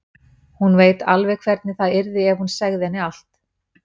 Hún veit alveg hvernig það yrði ef hún segði henni allt.